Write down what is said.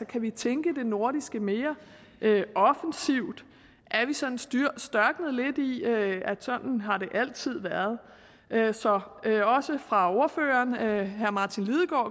kan vi tænke det nordiske mere offensivt er vi sådan størknet lidt i at sådan har det altid været så også fra ordføreren herre martin lidegaard